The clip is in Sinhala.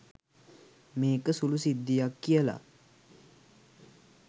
මේක සුළු සිද්ධියක් කියලා.